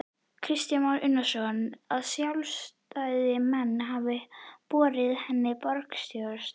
Kristján Már Unnarsson: Að sjálfstæðismenn hafi boðið henni borgarstjórastólinn?